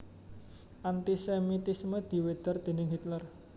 Anti sémitisme diwedhar déning Hitler